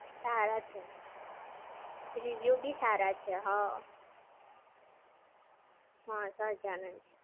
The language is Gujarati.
સારા છે. Review બી સારા છે, હા. હા સહજાનંદ!